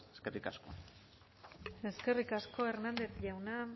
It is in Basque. eskerrik asko eskerrik asko hernández jauna